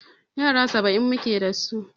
Yara saba'in muke dasu.